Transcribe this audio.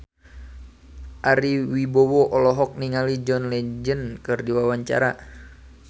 Ari Wibowo olohok ningali John Legend keur diwawancara